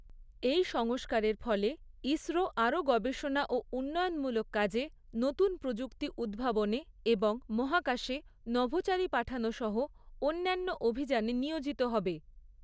এই সংস্কারের ফলে, ইসরো আরও গবেষণা ও উন্নয়নমূলক কাজে, নতুন প্রযুক্তি উদ্ভাবনে এবং মহাকাশে নভোচারী পাঠানো সহ অন্যান্য অভিযানে নিয়োজিত হবে।